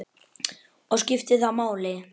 Og skiptir það máli?